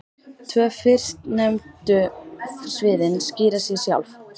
Tvö fyrstnefndu sviðin skýra sig sjálf.